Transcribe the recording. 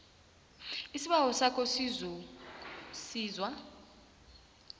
isibawo sakho sokusizwa